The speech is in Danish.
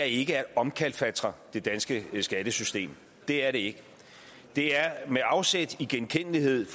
ikke er at omkalfatre det danske skattesystem det er det ikke det er med afsæt i genkendelighed